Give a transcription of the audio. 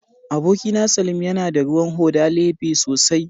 Abokina, salim yana da ruwan hoda lebe sosai